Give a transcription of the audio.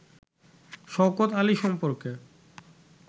শওকত আলী সম্পর্কে